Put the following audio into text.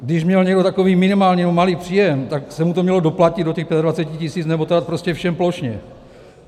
Když měl někdo takový minimální nebo malý příjem, tak se mu to mělo doplatit do těch 25 000, nebo to dát prostě všem plošně.